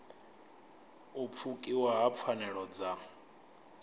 u pfukiwa ha pfanelo dza